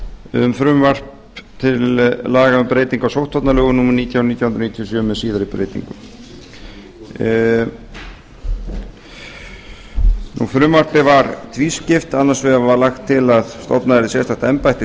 um frumvarp til laga um breytingu á sóttvarnalögum númer nítján nítján hundruð níutíu og sjö með síðari breytingum frumvarpið var tvískipt annars vegar var lagt til að stofnað yrði sérstakt embætti